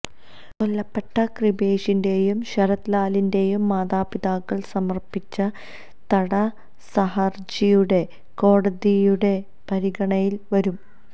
കൊല്ലപ്പെട്ട കൃപേഷിന്റെയും ശരത് ലാലിന്റെയും മാതാപിതാക്കള് സമര്പ്പിച്ച തടസഹര്ജിയും കോടതിയുടെ പരിഗണനയില് വരും